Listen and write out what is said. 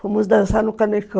Fomos dançar no Cane